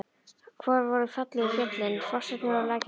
Hvar voru fallegu fjöllin, fossarnir og lækirnir?